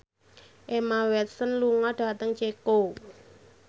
Emma Watson lunga dhateng Ceko